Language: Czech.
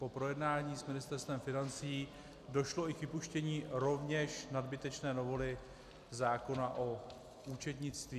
Po projednání s Ministerstvem financí došlo i k vypuštění rovněž nadbytečné novely zákona o účetnictví.